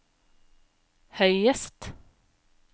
høyest